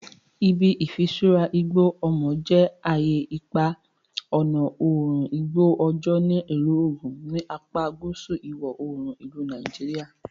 Ibi Ifisura Igbo Omo je aye ipa ọna oorun igbo ojo ni Ilu Ogun, ni apa guusu iwọ-oorun ilu Nigeria.